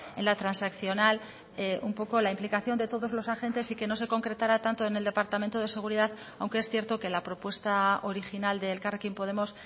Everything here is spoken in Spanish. en la transaccional un poco la implicación de todos los agentes y que no se concretara tanto en el departamento de seguridad aunque es cierto que la propuesta original de elkarrekin podemos